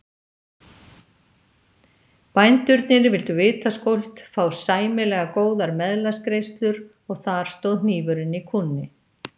Bændurnir vildu vitaskuld fá sæmilega góðar meðlagsgreiðslur og þar stóð hnífurinn í kúnni.